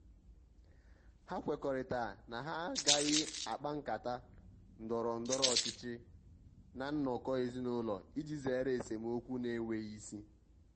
ha kwekọrịtara na ha agaghị akpa nkata ndọrọ ndọrọ ọchịchị ná nnọkọ ezinụlọ iji zere esemokwu na-enweghi isi.